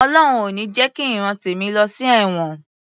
Ọlọhun ò ní jẹ ki ìran tèmi lọ sí ẹ̀wọ̀n